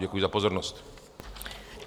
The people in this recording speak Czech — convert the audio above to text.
Děkuji za pozornost.